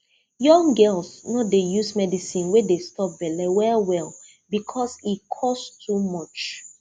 young girls no dey use medicine wey dey stop belle well well because e cost too much